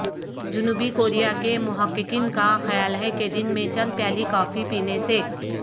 جنوبی کوریا کے محققین کا خیال ہے کہ دن میں چند پیالی کافی پینے سے